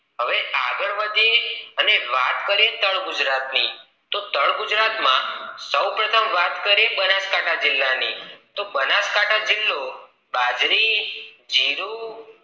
હવે આગળ વધીએ અને વાત કરીએ તળ ગુજરાત ની તો તળ ગુજરાત માં સૌ પ્રથમ વાત કરીએ બનાસકાંઠા જિલ્લા ની તો બનાસકાંઠા જિલ્લો બાજરી જીરું